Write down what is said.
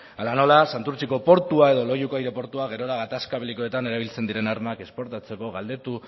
ala nola santurtziko portua edo loiuko aireportua gerora gatazka belikoetan erabiltzen diren armak esportatzeko